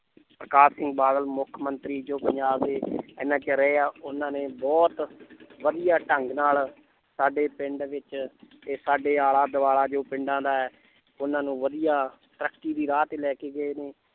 ਪ੍ਰਕਾਸ਼ ਸਿੰਘ ਬਾਦਲ ਮੁੱਖ ਮੰਤਰੀ ਜੋ ਪੰਜਾਬ ਦੇ ਇੰਨਾ ਚਿਰ ਰਹੇ ਆ ਉਹਨਾਂ ਨੇ ਬਹੁਤ ਵਧੀਆ ਢੰਗ ਨਾਲ ਸਾਡੇ ਪਿੰਡ ਵਿੱਚ ਤੇ ਸਾਡੇ ਆਲਾ ਦੁਆਲਾ ਜੋ ਪਿੰਡਾਂ ਦਾ ਹੈ ਉਹਨਾਂ ਨੂੰ ਵਧੀਆ ਤਰੱਕੀ ਦੀ ਰਾਹ ਤੇ ਲੈ ਕੇ ਗਏ ਨੇ